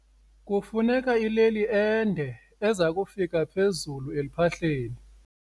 Kufuneka ileli ende eza kufika phezulu eluphahleni.